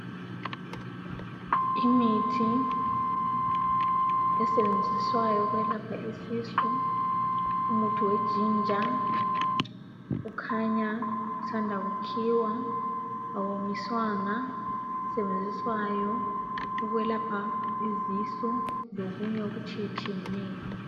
Imithi esetshenziswayo ukwelapha isisu. Umuthi wejinja ukhanya usanda kukhiwa. Awonyiswanga, usetshenziswa ukwelapha izisu lokunye okutshiyetshiyeneyo.